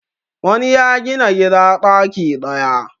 wani ya Gina gida daki daya